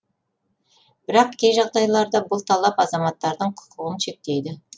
бірақ кей жағдайларда бұл талап азаматтардың құқығын шектейді